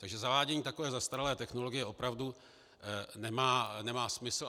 Takže zavádění takové zastaralé technologie opravdu nemá smysl.